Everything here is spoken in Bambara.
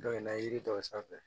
yiri dɔw sanfɛ